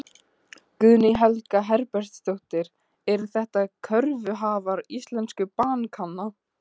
Guðný Helga Herbertsdóttir: Eru þetta kröfuhafar íslensku bankanna?